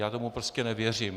Já tomu prostě nevěřím.